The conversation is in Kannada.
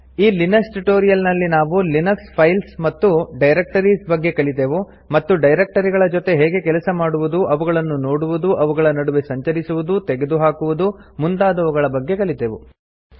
ಈ ಲಿನಕ್ಸ್ ಟ್ಯುಟೋರಿಯಲ್ ನಲ್ಲಿ ನಾವು ಲಿನಕ್ಸ್ ಫೈಲ್ಸ್ ಮತ್ತು ಡೈರಕ್ಟರಿಸ್ ಬಗ್ಗೆ ಕಲಿತೆವು ಮತ್ತು ಡೈರಕ್ಟರಿಗಳ ಜೊತೆ ಹೇಗೆ ಕೆಲಸ ಮಾಡುವುದು ಅವುಗಳನ್ನು ನೋಡುವುದು ಅವುಗಳ ನಡುವೆ ಸಂಚರಿಸುವುದು ತೆಗೆದು ಹಾಕುವುದು ಮುಂತಾದವುಗಳ ಬಗ್ಗೆ ಕಲಿತೆವು